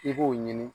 I b'o ɲini